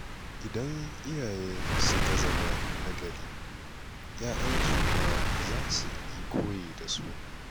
Idan iyaye suka zama na gari, 'ya'yansu ma za su yi koyi da su.